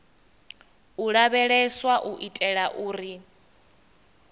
u lavheleswa u itela uri